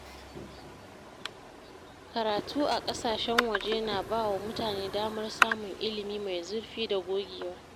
Karatu a ƙasashen waje na ba wa mutane damar samun ilimi mai zurfi da gogewa.